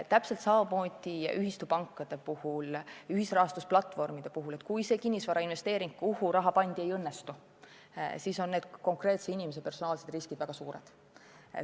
Täpselt samamoodi on ühistupankade puhul, ühisrahastusplatvormide puhul: kui kinnisvarainvesteering, kuhu raha pandi, ei õnnestu, siis on konkreetse inimese personaalsed riskid väga suured.